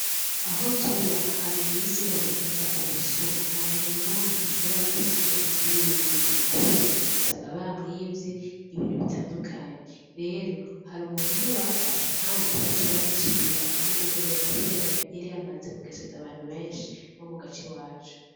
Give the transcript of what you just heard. Aho tuba hageze imisi hibonekeza ubusuma nta muntu numwe ashobora gusiga inzu yiwe yuguruye kubera usanga bamwivye ibintu bitandukanye rero hari umuntu umwe bafashe kandi baciye bamucira ugwo guherayo kubera yari yamaze kugeseza abantu benshi bo mu gace iwacu.